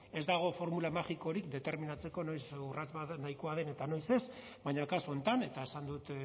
ez dago formula magikorik determinatzeko noiz urrats bat nahikoa den eta noiz ez baina kasu honetan eta esan dut